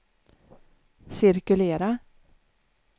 cirkulera